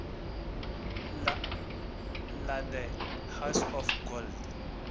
la the house of gold